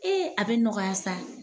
Ee a bɛ nɔgɔya sa.